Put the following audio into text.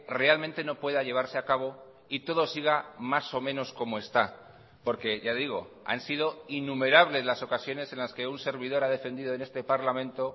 realmente no pueda llevarse a cabo y todo siga más o menos como está porque ya digo han sido innumerables las ocasiones en las que un servidor ha defendido en este parlamento